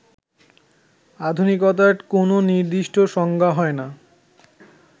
আধুনিকতার কোন নির্দিষ্ট সংজ্ঞা হয়না